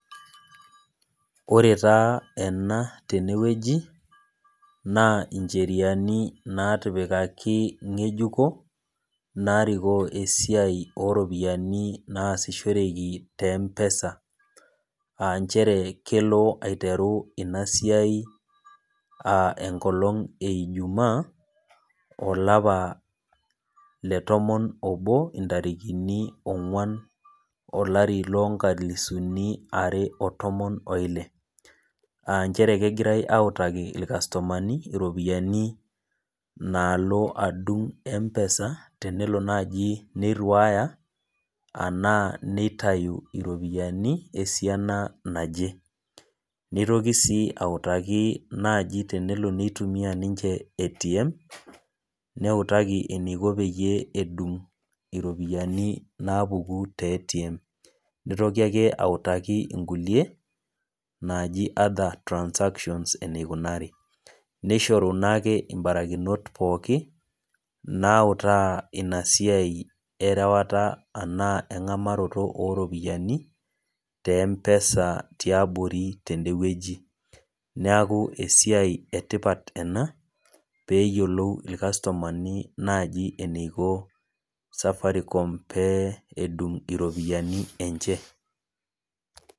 Ore taa ena tenewueji, naa incheriani natipikaki ng'ejuko, narikoo esiai oropiyiani naasishoreki te M-PESA. Ah njere kelo aiteru inasiai ah enkolong' ejumaa, olapa letomon obo intarikini ong'uan olari lonkalisuni are otomon oile. Ah njere kegirai autaki irkastomani iropiyiani naalo adung' M-PESA, tenelo naji neirriwaya anaa neitayu iropiyiani, esiana naje. Nitoki si autaki naji tenelo nitumia ninche ATM, neutaki eniko peyie edung' iropiyiani napuku te ATM. Nitoki ake autaki inkulie, naaji other transactions enikunari. Nishoru nake ibarakinot pooki, nautaa inasiai erewata anaa eng'amaroto oropiyiani, te M-PESA tiabori tedewueji. Neeku esiai etipat ena, peyiolou irkastomani naji eniko Safaricom pee edung' iropiyiani enche.